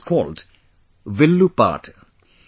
It is called 'Villu paat'